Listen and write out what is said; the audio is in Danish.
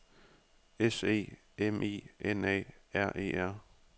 S E M I N A R E R